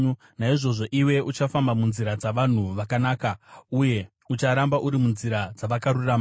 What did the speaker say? Naizvozvo iwe uchafamba munzira dzavanhu vakanaka uye ucharamba uri munzira dzavakarurama.